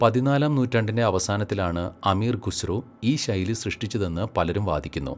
പതിനാലാം നൂറ്റാണ്ടിൻ്റെ അവസാനത്തിലാണ് അമീർ ഖുസ്രു ഈ ശൈലി സൃഷ്ടിച്ചതെന്ന് പലരും വാദിക്കുന്നു.